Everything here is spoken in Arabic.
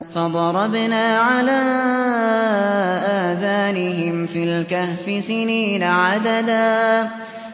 فَضَرَبْنَا عَلَىٰ آذَانِهِمْ فِي الْكَهْفِ سِنِينَ عَدَدًا